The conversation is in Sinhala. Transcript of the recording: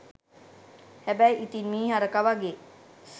හැබැයි ඉතින් මීහරක වගේ